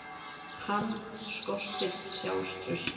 Hann skortir sjálfstraust.